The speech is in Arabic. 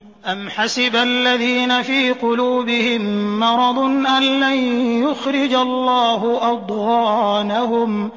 أَمْ حَسِبَ الَّذِينَ فِي قُلُوبِهِم مَّرَضٌ أَن لَّن يُخْرِجَ اللَّهُ أَضْغَانَهُمْ